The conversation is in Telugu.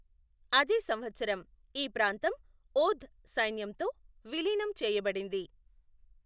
అదే సంవత్సరం ఈ ప్రాంతం ఓధ్ సైన్యంతో విలీనం చేయబడింది.